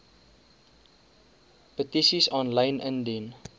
petisies aanlyn indien